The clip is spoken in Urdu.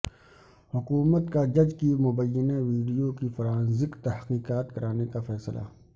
حکومت کا جج کی مبینہ ویڈیو کی فرانزک تحقیقات کرانے کا فیصلہ